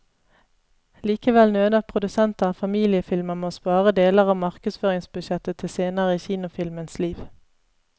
Likevel nøler produsenter av familiefilmer med å spare deler av markedsføringsbudsjettet til senere i kinofilmens liv.